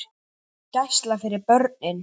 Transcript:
Gæsla fyrir börn.